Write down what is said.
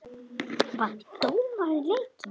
Vann dómarinn leikinn?